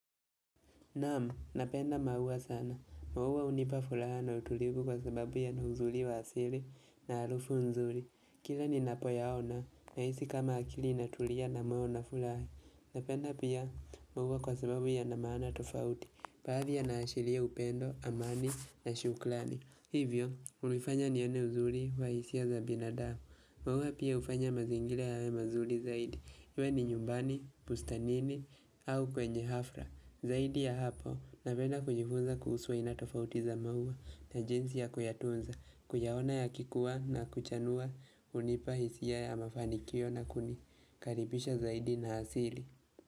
Naam, napenda maua sana, maua hunipa furaha na utulivu kwa sababu yana uzuri wa asili na harufu nzuri. Kila ninapoyaona, nahisi kama akili inatulia na ambao nafurahi. Napenda pia maua kwa sababu yana maana tofauti. Baadhi yanaashiria upendo, amani na shukrani Hivyo, hunifanya nione uzuri wa hisia za binadamu maua pia hufanya mazingira yawe mazuri zaidi. Iwe ni nyumbani, bustanini, au kwenye hafra. Zaidi ya hapo napenda kujifunza kuhusu aina tofauti za maua na jinsi ya kuyatunza kuyaona yakikuwa na kuchanua hunipa hisia ya mafanikio na kunikaribisha zaidi na asili.